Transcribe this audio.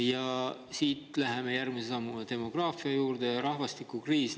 Ja siit läheme järgmise sammuga edasi demograafia ja rahvastikukriisi juurde.